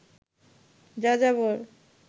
যাযাবর